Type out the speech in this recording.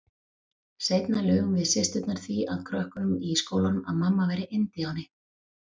Seinna lugum við systurnar því að krökkunum í skólanum að mamma væri indíáni.